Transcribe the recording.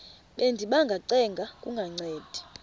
bendiba ngacenga kungancedi